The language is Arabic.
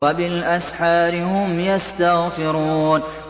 وَبِالْأَسْحَارِ هُمْ يَسْتَغْفِرُونَ